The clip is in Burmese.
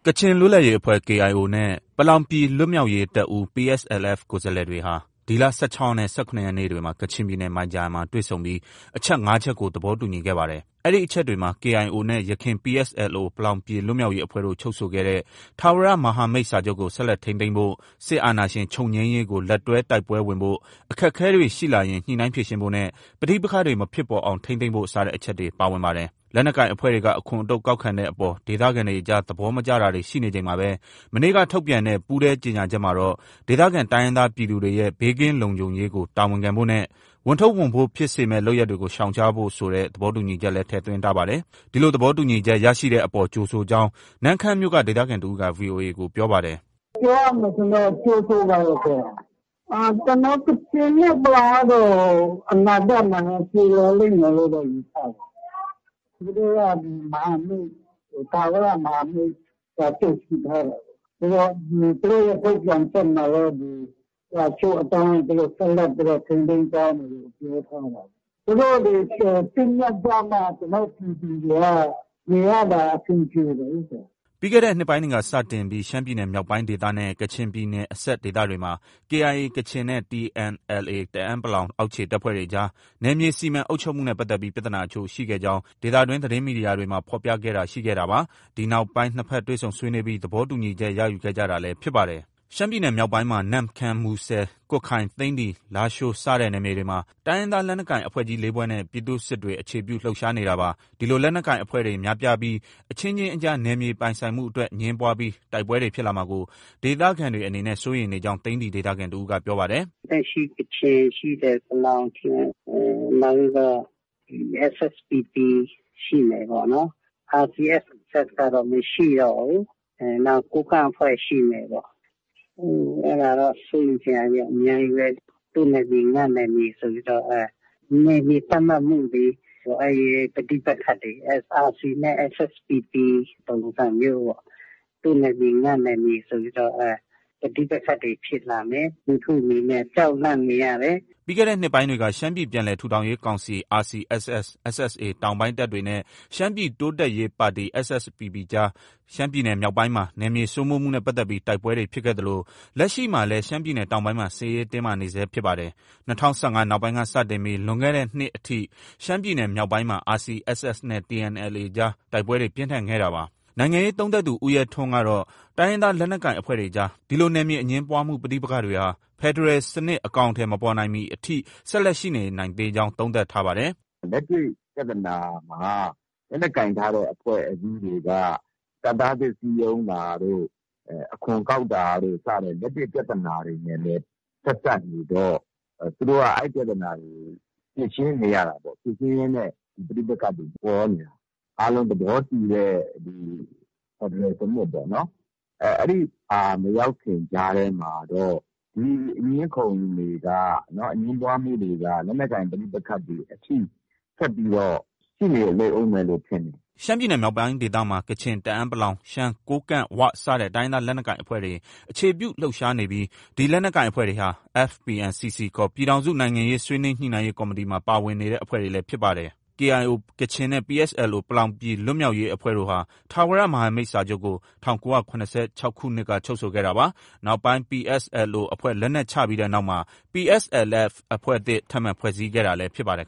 ကချင်လွတ်လပ်ရေးအဖွဲ့ KIO နဲ့ ပလောင်ပြည်လွတ်မြောက်ရေးတပ်ဦး PSLF ကိုယ်စားလှယ်တွေဟာ ဒီလ ၁၆ရက်နဲ့ ၁၇ရက်နေ့တွေမှာ ကချင်ပြည်နယ် မိုင်ဂျာယန်မှာ တွေ့ဆုံပြီး အချက် ၅ချက်ကို သဘော တူညီခဲ့ပါတယ်။ အဲဒီအချက်တွေမှာ KIO နဲ့ ယခင် PSLO ပလောင်ပြည်လွတ်မြောက်ရေးအဖွဲ့တို့ ချုပ်ဆိုခဲ့တဲ့ ထာဝရ မဟာမိတ်စာချုပ်ကို ဆက်လက်ထိန်းသိမ်းဖို့၊ စစ်အာဏာရှင်ချုပ်ငြိမ်းရေးကို လက်တွဲတိုက်ပွဲဝင်ဖို့၊ အခက်အခဲတွေ ရှိလာရင် ညှိနှိုင်းဖြေရှင်းဖို့နဲ့ ပဋိပက္ခတွေမဖြစ်ပေါ်အောင် ထိန်းသိမ်းဖို့ စတဲ့အချက်တွေ ပါဝင်ပါတယ်။ လက်နက်ကိုင် အဖွဲ့တွေက အခွန်အတုပ် ကောက်ခံတဲ့အပေါ် ဒေသခံတွေကြား သဘောမကျတာတွေ ရှိနေချိန်မှာပဲ၊ မနေ့က ထုတ်ပြန်တဲ့ ပူးတွဲကြေညာချက်မှာတော့ ဒေသခံတိုင်းရင်းသားပြည်သူတွေကို ဘေးကင်းလုံခြုံရေးကို တာဝန်ခံဖို့နဲ့ ဝန်ထုပ်ဝန်ပိုးဖြစ်စေမယ့် လုပ်ရပ်တွေကို ရှောင်ရားဖို့ ဆိုတဲ့ သဘောတူညီချက်လည်း ထည့်သွင်းထားပါတယ်။ ဒီလိုသဘောတူညီချက်ရရှိတဲ့အပေါ် ကြိုဆိုကြောင်း နမ့်ခမ်းမြို့က ဒေသခံတစ်ဦးက VOA ကို ပြောပါတယ်။ “ ပြောရမယ်ဆိုရင်တော့ ကြိုဆိုပါတယ်။ ကျနော်တို့ ကချင်နဲ့ ပလောင်ကတော့ အနာဂတ်မှာလည်း ပြေလည်လိမ့်မယ်လို့ ယူဆတယ်။ သူတို့က ထာဝရ မဟာမိတ်စာချုပ် ရှိထားတာကိုး။ သူတို့ရဲ့ထုတ်ပြန်ချက်မှာလည်း စာချုပ်အတိုင်းဆက်လက် ထိန်းသိမ်းသွားမယ်လို့ ပြောထားတာ။ သူတို့တွေ သင့်မြတ်ကြမှ ကျနော်တို့ ပြည်သူတွေက နေရတာ အဆင်ပြေတယ်လေ။” ပြီးခဲ့တဲ့နှစ်ပိုင်းက စတင်ပြီး ရှမ်းပြည်နယ်မြောက်ပိုင်းဒေသနဲ့ ကချင်ပြည်နယ်အစပ်ဒေသတွေမှာ KIA ကချင် နဲ့ TNLA တအန်း အောက်ခြေတပ်ဖွဲ့တွေအကြား နယ်မြေစီမံအုပ်ချုပ်မှုနဲ့ပတ်သက်ပြီး ပြဿနာအချို့ရှိခဲ့ကြောင်း ဒေသတွင်း သတင်းမီဒီယာတွေမှာ ဖော်ပြခဲ့တာရှိခဲ့တာပါ။ ဒီနောက်ပိုင်း နှစ်ဘက် တွေ့ဆုံဆွေးနွေးပြီး သဘောတူညီချက် ရယူခဲ့ကြတာလည်း ဖြစ်ပါတယ်။ ရှမ်းပြည်နယ်မြောက်ပိုင်းမှာ နမ့်ခမ်း၊ မူဆယ်၊ ကွတ်ခိုင်၊ သိန္နီ၊ လားရှိုး စတဲ့နယ်မြေတွေမှာ တိုင်းရင်းသားလက်နက်ကိုင်အဖွဲ့ ကြီး ၄ဖွဲ့နဲ့ ပြည်သူ့စစ်တွေ အခြေပြု လှုပ်ရှားနေတာပါ။ ဒီလို လက်နက်ကိုင်အဖွဲ့တွေများပြားပြီး အချင်းချင်းအကြား နယ်မြေပိုင်ဆိုင်အတွက် အငြင်းပွားပြီး တိုက်ပွဲတွေဖြစ်လာမှာကို ဒေသခံတွေအနေနဲ့ စိုးရိမ်နေကြောင်း သိန္နီဒေသခံတစ်ဦးက ပြောပါတယ်။ “လက်ရှိ ကချင် ရှိတယ်။ ပလောင်ရှိတယ်၊ နောက်ပြီးတော့ SSPP ရှိမယ်ပေါ့နော်။ RCSS ကတော့ မရှိတော့ဘူး။ နောက် ကိုးကန့်အဖွဲ့ရှိမယ်ပေါ့။ အဲဒါတော့ စိုးရိမ်စရာတွေက အများကြီးပဲ။ သူ့နယ်မြေ ငါ့နယ်မြေဆိုပြီးတော့ နယ်မြေသတ်မှတ်မှုတွေ၊ အဲဒီ ပဋိပက္ခတွေပေါ့။ RC နဲ့ SSPP ပုံစံမျိုးပေါ့။ သူ့နယ်မြေ ငါ့နယ်မြေဆိုပြီးတော့ ပဋိပက္ခတွေဖြစ်လာမယ်။ လူထုအနေနဲ့ ကြောက်လန့်နေရတယ်။” ပြီးခဲ့တဲ့နှစ်ပိုင်းတွေက ရှမ်းပြည်ပြန်လည်ထူထောင်ရေးကောင်စီ RCSS/ SSA တောင်ပိုင်းတပ်တွေနဲ့ ရှမ်းပြည် တိုးတက်ရေးပါတီ SSPPအကြား ရှမ်းပြည်နယ်မြောက်ပိုင်းမှာ နယ်မြေစိုးမိုးမှုနဲ့ပတ်သက်ပြီး တိုက်ပွဲတွေ ဖြစ်ခဲ့သလို လက်ရှိမှာလည်း ရှမ်းပြည်နယ်တောင်ပိုင်းမှာ စစ်ရေးတင်းမာနေဆဲဖြစ်ပါတယ်။ ၂၀၁၅နောက်ပိုင်းကစတင်ပြီး လွန်ခဲ့တဲ့နှစ်အထိ ရှမ်းပြည်နယ်မြောက်ပိုင်းမှာ RCSS နဲ့ TNLA အကြား တိုက်ပွဲတွေ ပြင်းထန်ခဲ့တာပါ။ နိုင်ငံရေးသုံးသပ်သူ ဦးရဲထွန်းကတော့ တိုင်းရင်းသားလက်နက်ကိုင်အဖွဲ့တွေအကြား ဒီလို နယ်မြေအငြင်းပွားမှု ပဋိပက္ခတွေဟာ ဖက်ဒရယ်စနစ် အကောင်အထည်မဖော်နိုင်မီအထိ ဆက်လက်ရှိနေနိုင်ကြောင်း သုံးသပ်ပါတယ်။ “ လက်တွေ့ ပြဿနာမှာ လက်နက်ကိုင်ထားတဲ့အဖွဲ့အစည်းတွေက တပ်သားသစ်စည်းရုံးတာတို့၊ အခွန်ကောက်တာတို့ စတဲ့ လက်တွေ့ ပြဿနာတွေနဲ့လည်း ဆက်စပ်နေတော့ သူတို့က အဲဒီ ပြဿနာတွေကို ဖြေရှင်းနေရတာပေါ့။ ဖြေရှင်းရင်းနဲ့ ပဋိပက္ခတွေ ပေါ်နေတာ။ အားလုံးသဘောတူတဲ့ ဖက်ဒရယ်စနစ်ပေါ့နော်။ အဲဒီဟာ မရောက်ခင် ကြားထဲမှာတော့ ဒီအငြင်းအခုံတွေက၊ အငြင်းပွားမှုတွေက လက်နက်ကိုင်ပဋိပက္ခတွေ အထိ ဆက်ပြီးတော့ ရှိနေလိမ့်အုံးမယ်လို့ ထင်တယ်။ ” ရှမ်းပြည်နယ် မြောက်ပိုင်းဒေသမှာ ကချင်၊ တအန်း ၊ ရှမ်း၊ ကိုးကန့် ၊ ၀ စတဲ့ တိုင်းရင်းသားလက်နက်ကိုင်အဖွဲ့တွေ အခြေပြုလှုပ်ရှားနေပြီး ဒီလက်နက်ကိုင်အဖွဲ့တွေဟာ FPNCC ခေါ် ပြည်ထောင်စု နိုင်ငံရေးဆွေးနွေးညှိနှိုင်းရေးကော်မတီမှာ ပါဝင်နေတဲ့အဖွဲ့တွေလည်း ဖြစ်ပါတယ်။ KIO ကချင်နဲ့ PSLO ပလောင်ပြည်လွတ်မြောက်ရေးအဖွဲ့တို့ဟာ ထာဝရ မဟာမိတ်စာချုပ်ကို ၁၉၇၆ခုနှစ်က ချုပ်ဆိုခဲ့တာပါ။ နောက်ပိုင်း PSLO အဖွဲ့ လက်နက်ချပြီးတဲ့နောက်မှာ PSLF အဖွဲ့သစ် ထပ်မံဖွဲ့စည်းခဲ့တာလည်း ဖြစ်ပါတယ်